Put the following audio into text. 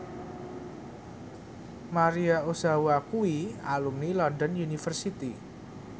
Maria Ozawa kuwi alumni London University